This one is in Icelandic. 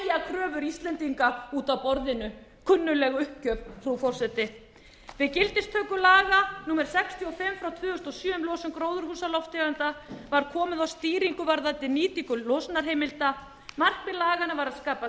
kröfur íslendinga út af borðinu kunnugleg uppgjöf frú forseti við gildistöku laga númer sextíu og fimm frá tvö þúsund og sjö um losun gróðurhúsalofttegunda var komið á stýringu varðandi nýtingu losunarheimilda markmið laganna var að skapa